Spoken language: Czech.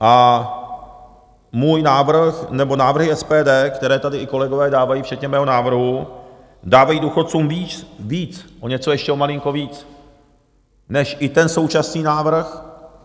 A můj návrh, nebo návrhy SPD, které tady i kolegové dávají, včetně mého návrhu dávají důchodcům víc, o něco, ještě o malinko víc než i ten současný návrh...